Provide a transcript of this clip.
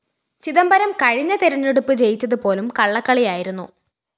ചിദംബരം കഴിഞ്ഞ തെരഞ്ഞെടുപ്പ് ജയിച്ചതുപോലും കള്ളക്കളി ആയിരുന്നു